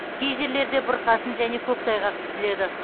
кей жерлерде бұрқасын және көктайғақ күтіледі